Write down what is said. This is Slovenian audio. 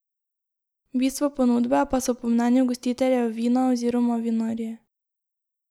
Bistvo ponudbe pa so po mnenju gostiteljev vina oziroma vinarji.